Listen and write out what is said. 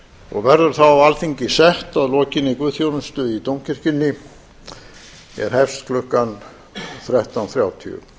og verður þá alþingi sett að lokinni guðsþjónustu í dómkirkjunni er hefst klukkan þrettán þrjátíu